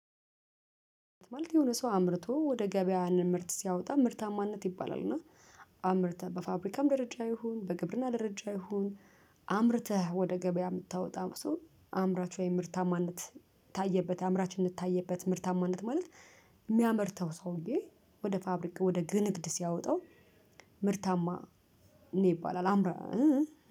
ማለት የሆነ ሰው አምርቶ ወደ ገበያ ለምርት ሲያወጣ ምርታማነት ይባላል እና አምርተህ በፋብሪካም ደረጃ ይሁን በግብርና ደረጃ ይሁን አምርተህ ወደ ገበያ የምታወጣ ሰው አምራች ወይም ምርታማነት ታየበት አምራችነት ታየበት ምርታማነት ማለት የሚያመርተው ሰውዬ ወደ ፋብሪካ ወደ ንግድ ሲያወጣው ምርታማ ነው ይባላል። አምራ